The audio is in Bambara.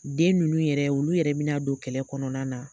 Den nunnu yɛrɛ ,olu yɛrɛ mina don kɛlɛ kɔnɔna na